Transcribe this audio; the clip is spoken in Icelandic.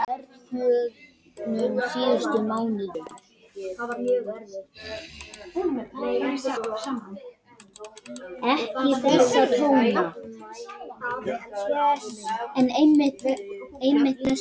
Emil athugaði luktina á hjólinu.